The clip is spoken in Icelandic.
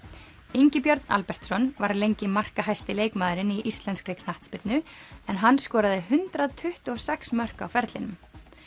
Ingi Björn Albertsson var lengi markahæsti leikmaðurinn í íslenskri knattspyrnu en hann skoraði hundrað tuttugu og sex mörk á ferlinum